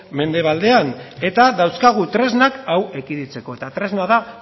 mendebaldean eta dauzkagu tresnak hau ekiditeko eta tresna da